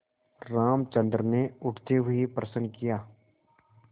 रामचंद्र ने उठते हुए प्रश्न किया